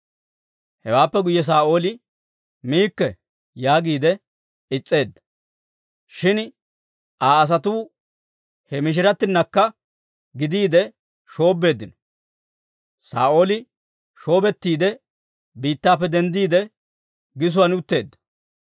Hewaappe guyye Saa'ooli, «Miikke» yaagiide is's'eedda. Shin Aa asatuu he mishiratinakka gidiide shoobbeeddino; Saa'ooli shoobettiide biittappe denddiide, gisuwaan utteedda.